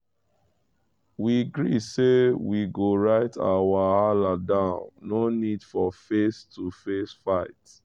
we gree say we go write our wahala down no need for face-to-face fight.